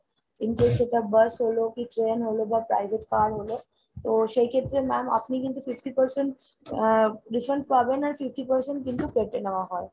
in case সেটা bus হলো, কি train হলো, বা private car হলো তো সেই ক্ষেত্রে ma'am আপনি কিন্তু fifty percent আহ refund পাবেন আর fifty percent কিন্তু কেটে নেওয়া হয়।